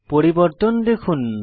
পরিবর্তন দেখুন